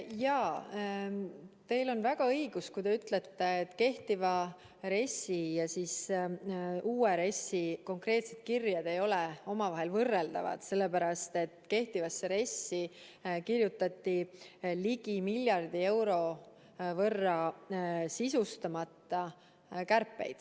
Jaa, teil on väga õigus, kui te ütlete, et kehtiva RES-i ja siis uue RES-i konkreetsed kirjed ei ole omavahel võrreldavad, sellepärast et kehtivasse RES-i kirjutati ligi miljardi euro võrra sisustamata kärpeid.